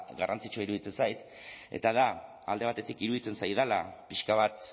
garrantzitsua iruditzen zait eta da alde batetik iruditzen zaidala pixka bat